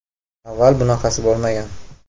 Avval bunaqasi bo‘lmagan.